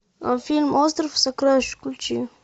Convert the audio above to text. фильм остров сокровищ включи